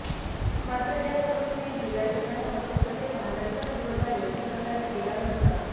मात्र या कंपनीने जुलै आणि ऑगस्टमध्ये वाहनांचा पुरवठा योग्य प्रकारे केला नव्हता